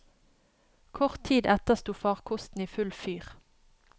Kort tid etter sto farkosten i full fyr.